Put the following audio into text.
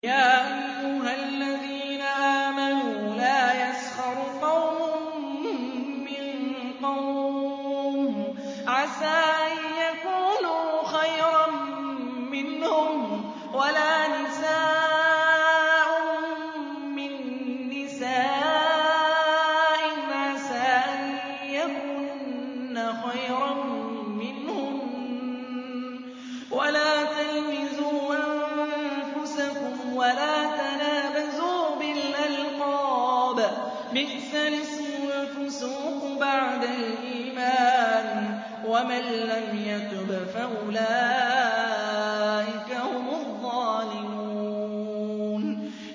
يَا أَيُّهَا الَّذِينَ آمَنُوا لَا يَسْخَرْ قَوْمٌ مِّن قَوْمٍ عَسَىٰ أَن يَكُونُوا خَيْرًا مِّنْهُمْ وَلَا نِسَاءٌ مِّن نِّسَاءٍ عَسَىٰ أَن يَكُنَّ خَيْرًا مِّنْهُنَّ ۖ وَلَا تَلْمِزُوا أَنفُسَكُمْ وَلَا تَنَابَزُوا بِالْأَلْقَابِ ۖ بِئْسَ الِاسْمُ الْفُسُوقُ بَعْدَ الْإِيمَانِ ۚ وَمَن لَّمْ يَتُبْ فَأُولَٰئِكَ هُمُ الظَّالِمُونَ